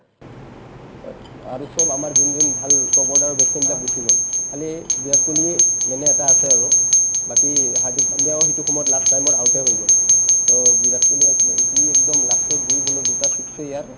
but আৰু চব আমাৰ যোন যোন ভাল top order ৰৰ batch man বিলাক গুচি গ'ল খালী বিৰাট কোহলিয়ে মানে এটা আছে আৰু বাকী হাৰ্ডিক পাণ্ডিয়াও সিটো সময়ত last time ত out য়ে হৈ গ'ল to বিৰাট কোহলিও সি একদম last ৰ দুই ball ত দুটা six য়ে ইয়াৰ